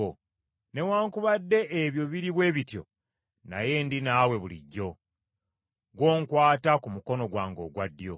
Newaakubadde ebyo biri bwe bityo naye ndi naawe bulijjo; gw’onkwata ku mukono gwange ogwa ddyo.